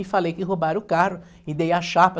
E falei que roubaram o carro e dei a chapa.